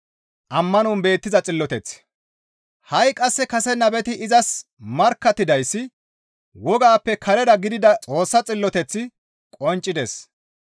Ha7i qasse kase nabeti izas markkattidayssi wogaappe karera gidida Xoossa xilloteththi qonccides.